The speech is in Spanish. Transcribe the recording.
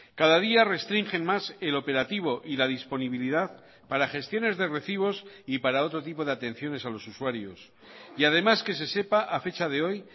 cada día restringen más el operativo y la disponibilidad para gestiones de recibos y para otro tipo de atenciones a los usuarios y además que se sepa a fecha de hoy